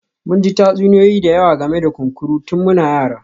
Mun ji tatsuniyoyi da yawa game da kunkuru tun muna yara